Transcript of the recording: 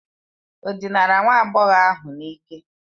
Ọ dinara nwa agbọghọ ahụ n'ike?